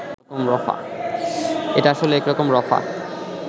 এটা আসলে একরকম রফা